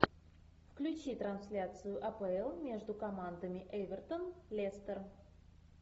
включи трансляцию апл между командами эвертон лестер